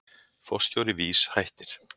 Forstjóri VÍS hættir